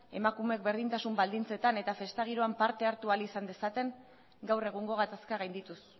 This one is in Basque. emakumeek berdintasun baldintzetan eta festa giroan parte hartu ahal izan dezaten gaur egungo gatazka gaindituz